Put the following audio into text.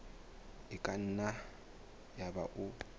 e ka nna yaba o